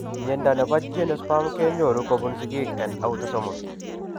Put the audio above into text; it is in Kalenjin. Mnyondo nebo geniospasm kenyoru kobun sigiiken autosomal